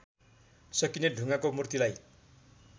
सकिने ढुङ्गाको मूर्तिलाई